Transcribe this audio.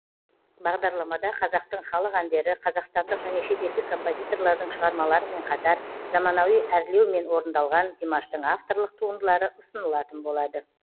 бағдарламада қазақтың халық әндері қазақстандық және шетелдік композиторлардың шығармаларымен қатар заманауи әрлеумен орындалған димаштың авторлық туындылары ұсынылатын болады